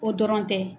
O dɔrɔn tɛ